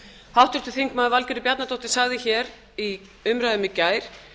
háttvirtur þingmaður valgerður bjarnadóttir sagði hér í umræðum í gær